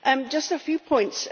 Just a few points.